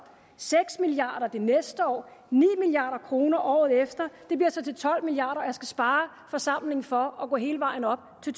seks milliard kroner det næste år ni milliard kroner året efter det bliver så til tolv milliard kr og jeg skal spare forsamlingen for at gå hele vejen op til